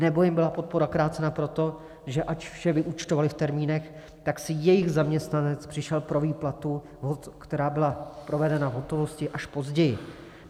Nebo jim byla podpora krácena proto, že ač vše vyúčtovaly v termínech, tak si jejich zaměstnanec přišel pro výplatu, která byla provedena v hotovosti, až později.